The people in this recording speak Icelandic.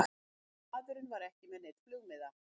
Maðurinn var ekki með neinn flugmiða